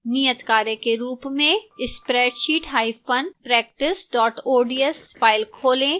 नियतकार्य के रूप में spreadsheetpractice ods फाइल खोलें